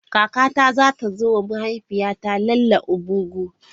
Kakata za ta zo wa mahaifiyata 'Ile omugwo'.